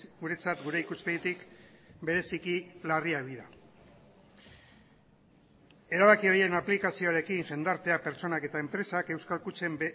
guretzat gure ikuspegitik bereziki larriak dira erabaki horien aplikazioarekin jendartea pertsonak eta enpresak euskal kutxen